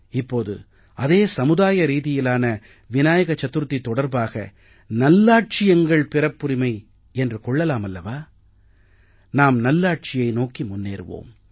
இப்போது அதே சமுதாய ரீதியிலான விநாயக சதுர்த்தி தொடர்பாக நல்லாட்சி எங்கள் பிறப்புரிமை என்று கொள்ளலாமல்லவா நாம் நல்லாட்சியை நோக்கி முன்னேறுவோம்